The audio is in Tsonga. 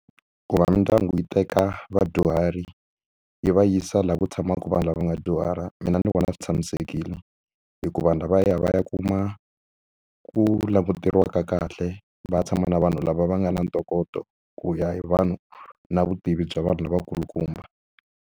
Ku va mindyangu yi teka vadyuhari yi va yisa laha ku tshamaka vanhu lava va nga dyuhara mina ni vona swi tshamisekile hikuva vanhu lava ya va ya kuma ku languteriwa ka kahle va ya tshama na vanhu lava va nga na ntokoto ku ya hi vanhu na vutivi bya vanhu lavakulukumba.